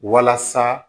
Walasa